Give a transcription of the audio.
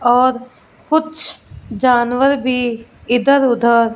और कुछ जानवर भी इधर उधर--